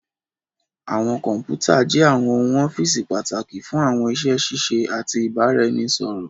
Àwọn kọnputa jé àwọn ohùn ọ́fíìsì pàtàkì fún àwọn iṣé ṣiṣẹ àti ibaraẹnisọrọ.